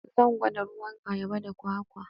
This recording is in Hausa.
Zan gwada ruwan ayaba da kwakwa.